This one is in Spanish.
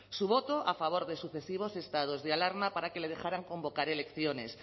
su voto a favor de sucesivos estados de alarma para que le dejarán convocar elecciones